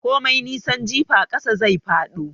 Komai nisan jifa ƙasa zai fado.